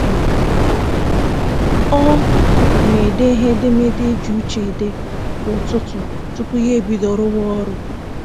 Ọ na-ede ihe edemede e ji uche ede kwa ụtụtụ tupu ya ebido rụwa ọrụ